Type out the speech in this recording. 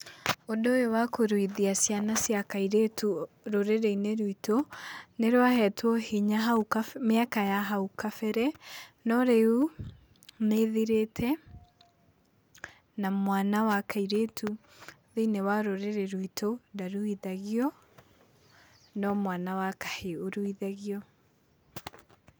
Ũndũ ũyũ wa kũruithia ciana cia kairĩtu rũrĩrĩ-inĩ rwitũ, nĩ rwahetwo hinya hau mĩaka ya hau kabere, no rĩu, nĩ ĩthirĩte, na mwana wa kairĩtu thĩ-inĩ wa rũrĩrĩ rwitũ ndaruithagio, no mwana wa kahĩĩ ũruithagio.